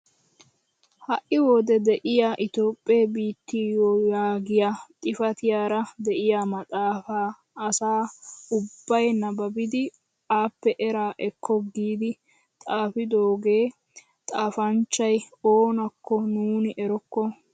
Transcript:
Ha'i wode de'iyaa itoophphee biittiyoo yaagiyaa xifatiyaara de'iyaa maxaafaa asa ubbay nababidi appe eraa ekko giidi xaafidogaa xafanchchay oonakko nuni erokko!